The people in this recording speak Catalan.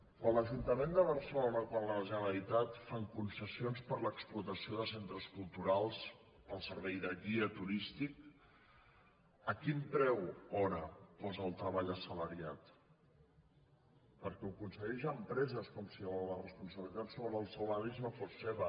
quan l’ajunta·ment de barcelona quan la generalitat fan concessi·ons per a l’explotació de centres culturals per al servei de guia turístic a quin preu hora posa el treball assa·lariat perquè ho concedeix a empreses com si la res·ponsabilitat sobre els salaris no fos seva